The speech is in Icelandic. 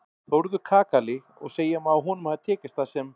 Þórður kakali og segja má að honum hafi tekist það sem